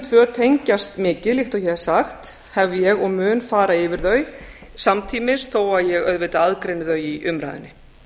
tvö tengjast mikið líkt og ég hef sagt hef ég og mun fara yfir þau samtímis þó að ég auðvitað aðgreini þau í umræðunni